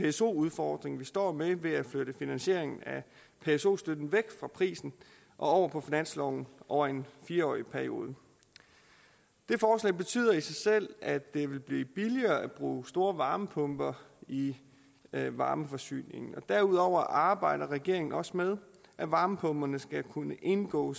pso udfordring vi står med ved at flytte finansieringen af pso støtten væk fra prisen og over på finansloven over en fire årig periode det forslag betyder i sig selv at det vil blive billigere at bruge store varmepumper i i varmeforsyningen derudover arbejder regeringen også med at varmepumperne skal kunne indgå